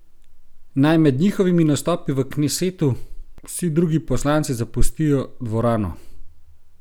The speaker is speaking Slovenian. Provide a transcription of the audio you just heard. Naj med njihovimi nastopi v knesetu vsi drugi poslanci zapustijo dvorano!